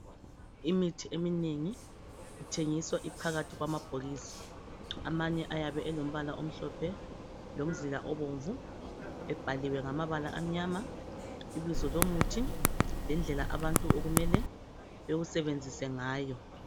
Imithi eminengi ithengiswa iphakathi kwamabhokisi. Amanye ayabe elombala omhlophe lomzila obomvu ebhaliwe ibizo lomuthi lendlela abantu okumele bewusebenzise ngayo.